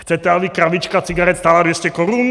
Chcete, aby krabička cigaret stála 200 korun?